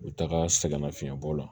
U bɛ taga sɛgɛnnafiɲɛ bɔ la